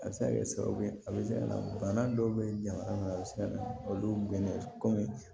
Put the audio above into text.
A bɛ se ka kɛ sababu ye a bɛ se ka na bana dɔw bɛ jamana a bɛ se ka na olu bɛnnen komi